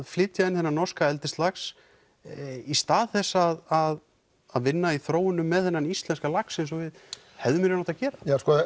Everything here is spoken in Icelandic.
flytja inn þennan norska eldislax í stað þess að að vinna í þróunum með þennan íslenska lax eins og við hefðum í raun átt að gera